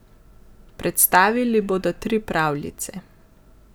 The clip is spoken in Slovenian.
Predstavili bodo tri pravljice.